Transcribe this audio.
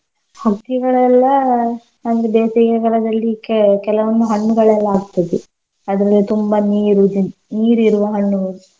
ಹಕ್ಕಿಗಳೆಲ್ಲ ನಮ್ದು ಬೇಸಿಗೆ ಕಾಲದಲ್ಲಿ ಕೆ~ ಕೆಲವಂದು ಹಣ್ಣುಗಳೆಲ್ಲ ಆಗ್ತಿದ್ದು ಅದ್ರಲ್ಲಿ ತುಂಬಾ ನೀರು ನೀರ್ ಇರುವ ಹಣ್ಣು.